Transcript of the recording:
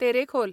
Terekhol